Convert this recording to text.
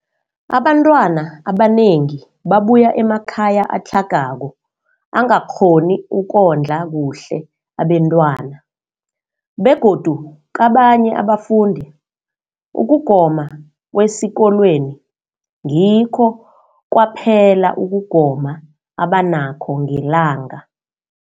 Abantwana abanengi babuya emakhaya atlhagako angakghoni ukondla kuhle abentwana, begodu kabanye abafundi, ukugoma kwesikolweni ngikho kwaphela ukugoma abanakho ngelanga.